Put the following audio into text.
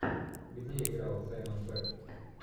где играл саймон пегг